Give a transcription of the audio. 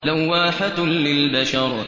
لَوَّاحَةٌ لِّلْبَشَرِ